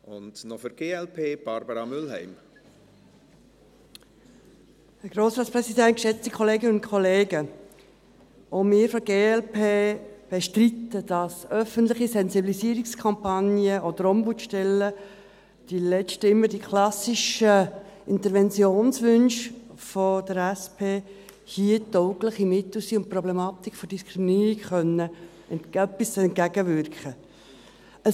Auch wir von der glp bestreiten, dass öffentliche Sensibilisierungskampagnen oder Ombudsstellen, die letzten, immer die klassischen Interventionswünsche der SP, hier taugliche Mittel sind, um der Problematik der Diskriminierung etwas entgegenwirken zu können.